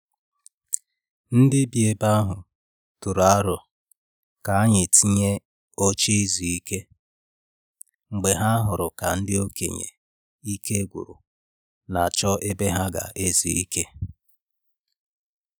Ndị bi ebe ahu tụrụ aro ka e tinye oche i zu ike mgbe ha hụrụ ka ndị okenye ike n'agwu n'achọ ebe ha ga-ezu ike.